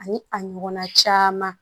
Ani a ɲɔgɔnna caman